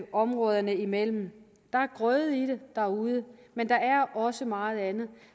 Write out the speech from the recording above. områderne imellem der er grøde i det derude men der er også meget andet